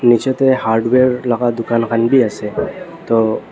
niche te hardware laga dukan khan bhi ase to--